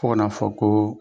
Fo ka na fɔ ko